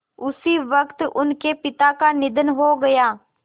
उसी वक़्त उनके पिता का निधन हो गया